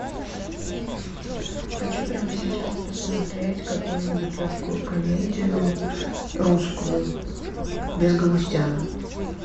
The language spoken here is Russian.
хочу прямо сейчас посмотреть какую нибудь легкую комедию русскую без галустяна